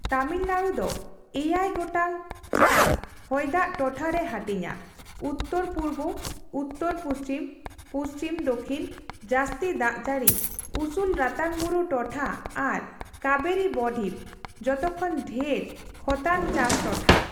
ᱛᱟᱢᱤᱞᱱᱟᱲᱩ ᱫᱚ ᱮᱭᱟᱭ ᱜᱚᱴᱟᱝ ᱪᱟᱥᱼᱦᱚᱭᱫᱟᱜ ᱴᱚᱴᱷᱟᱨᱮ ᱦᱟᱹᱴᱤᱧᱟ, ᱩᱛᱛᱚᱨᱼᱯᱩᱨᱵᱚ, ᱩᱛᱛᱚᱨᱼᱯᱩᱪᱷᱤᱢ ᱯᱩᱪᱷᱤᱢ, ᱫᱚᱠᱷᱤᱱ, ᱡᱟᱹᱥᱛᱤ ᱫᱟᱜ ᱡᱟᱹᱲᱤ, ᱩᱥᱩᱞ ᱨᱟᱛᱟᱝ ᱵᱩᱨᱩ ᱴᱚᱴᱷᱟ ᱟᱨ ᱠᱟᱵᱮᱨᱤ ᱵᱚᱼᱰᱷᱤᱢ (ᱡᱚᱛᱚᱠᱷᱚᱱ ᱰᱷᱮᱨ ᱠᱷᱚᱛᱟᱱ ᱪᱟᱥ ᱴᱚᱴᱷᱟ) ᱾